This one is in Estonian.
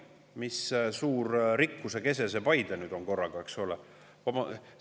Mis suur rikkuse kese Paide nüüd korraga on, eks ole?